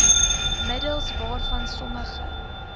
middels waarvan sommige